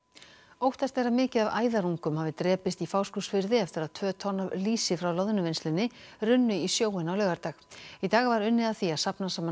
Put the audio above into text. óttast er að mikið af æðarungum hafi drepist í Fáskrúðsfirði eftir að tvö tonn af lýsi frá Loðnuvinnslunni runnu í sjóinn á laugardag í dag var unnið að því að safna saman